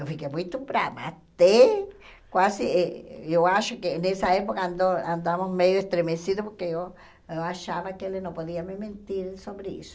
Eu fiquei muito brava, até quase... Eu acho que nessa época andou andamos meio estremecidos porque eu eu achava que ele não podia me mentir sobre isso.